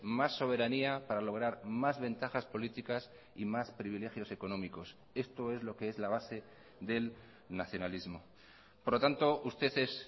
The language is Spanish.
más soberanía para lograr más ventajas políticas y más privilegios económicos esto es lo que es la base del nacionalismo por lo tanto usted es